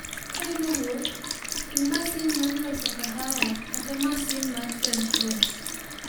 Ka in e wuoth, ting' masin mar loso kahawa kata masin mar French press.